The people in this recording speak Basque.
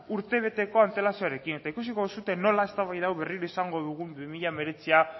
urtebetekon antelazioarekin eta ikusiko duzue nola eztabaida hau berriro izango dugun bi mila hemeretzia